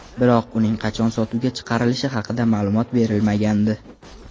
Biroq uning qachon sotuvga chiqarilishi haqida ma’lumot berilmagandi.